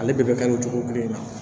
Ale bɛɛ bɛ ka don jogo kelen na